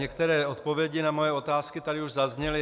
Některé odpovědi na moje otázky tady už zazněly.